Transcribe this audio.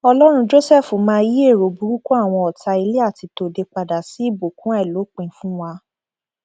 ọlọrun jósẹfù máa yí èrò burúkú àwọn ọtá ilé àti tòde padà sí ìbùkún àìlópin fún wa